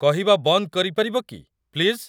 କହିବା ବନ୍ଦ କରିପାରିବ କି, ପ୍ଲିଜ୍?